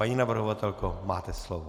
Paní navrhovatelko, máte slovo.